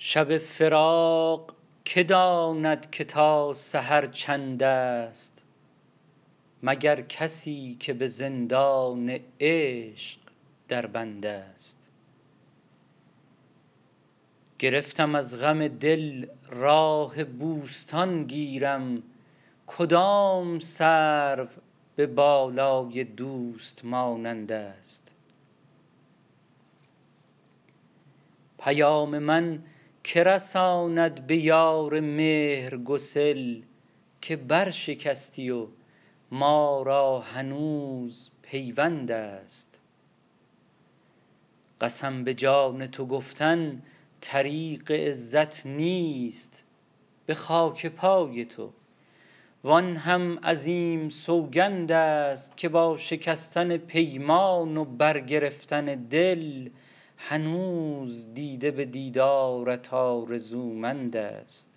شب فراق که داند که تا سحر چندست مگر کسی که به زندان عشق در بندست گرفتم از غم دل راه بوستان گیرم کدام سرو به بالای دوست مانندست پیام من که رساند به یار مهرگسل که برشکستی و ما را هنوز پیوندست قسم به جان تو گفتن طریق عزت نیست به خاک پای تو وآن هم عظیم سوگندست که با شکستن پیمان و برگرفتن دل هنوز دیده به دیدارت آرزومندست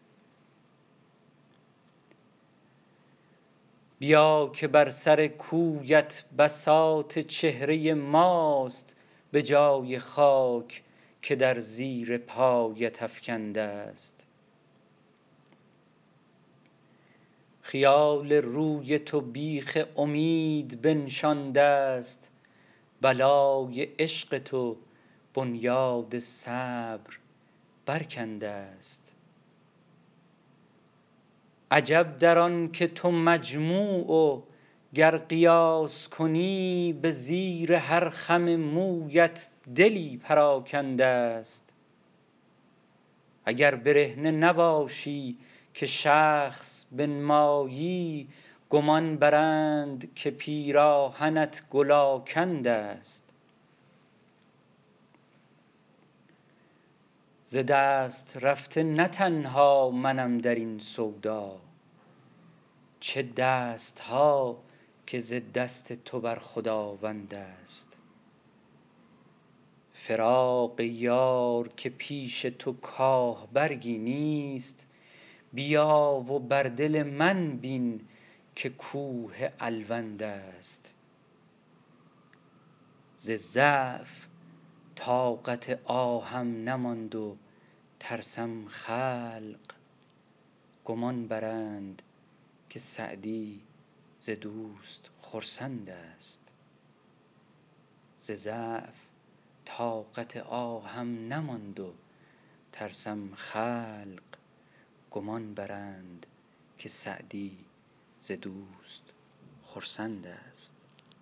بیا که بر سر کویت بساط چهره ماست به جای خاک که در زیر پایت افکندست خیال روی تو بیخ امید بنشاندست بلای عشق تو بنیاد صبر برکندست عجب در آن که تو مجموع و گر قیاس کنی به زیر هر خم مویت دلی پراکندست اگر برهنه نباشی که شخص بنمایی گمان برند که پیراهنت گل آکندست ز دست رفته نه تنها منم در این سودا چه دست ها که ز دست تو بر خداوندست فراق یار که پیش تو کاه برگی نیست بیا و بر دل من بین که کوه الوندست ز ضعف طاقت آهم نماند و ترسم خلق گمان برند که سعدی ز دوست خرسندست